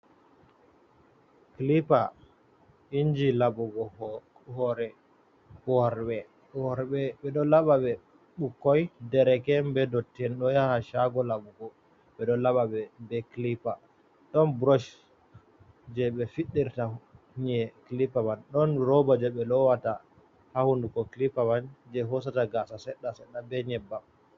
Clippar inji laɓugo hore worɓe, worɓe ɓeɗo laɓa ɓe, ɓukoy, dereke’en, be dotti'en ɗo yaha shago laɓugo, ɓedo laɓa ɓe clippa, ɗon brosh je ɓe fiddirta nyi’e clipa man, dont roba je ɓe lowata ha hunduko clippa man je hosata gasa seɗɗa seɗɗa be nyeɓɓam.